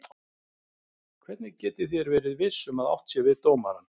Hvernig getið þér verið viss um að átt sé við dómarann?